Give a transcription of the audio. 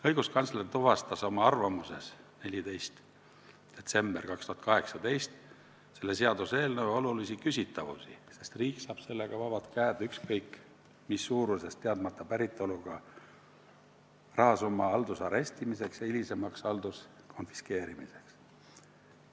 Õiguskantsler tuvastas oma 14. detsembri 2018. aasta arvamuses seaduseelnõus olulisi küsitavusi, sest riik saab sellega vabad käed ükskõik mis suuruses teadmata päritoluga rahasumma haldusarestimiseks ja hilisemaks halduskonfiskeerimiseks.